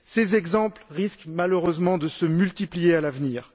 Ces exemples risquent, malheureusement, de se multiplier à l'avenir.